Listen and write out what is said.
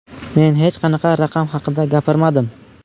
Men hech qanaqa raqam haqida gapirmadim.